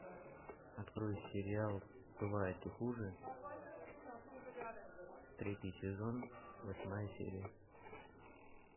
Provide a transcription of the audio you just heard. открой сериал бывает и хуже третий сезон восьмая серия